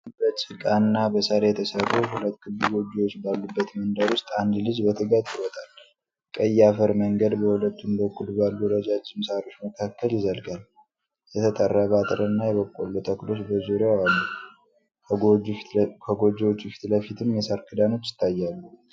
በጭቃና በሳር የተሰሩ ሁለት ክብ ጎጆዎች ባሉበት መንደር ውስጥ አንድ ልጅ በትጋት ይሮጣል። ቀይ የአፈር መንገድ በሁለቱም በኩል ባሉ ረዣዥም ሣሮች መካከል ይዘልቃል፤ የተጠረበ አጥርና የበቆሎ ተክሎች በዙሪያው አሉ፤ ከጎጆዎቹ ፊትለፊትም የሣር ክዳኖች ይታያሉ።